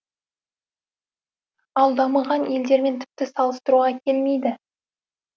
ал дамыған елдермен тіпті салыстыруға келмейді